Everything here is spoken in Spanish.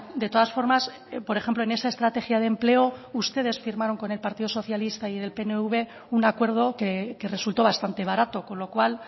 de todas formas por ejemplo en esa estrategia de empleo ustedes firmaron con el partido socialista y el pnv un acuerdo que resultó bastante barato con lo cual